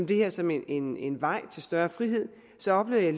det her som en en vej til større frihed så oplevede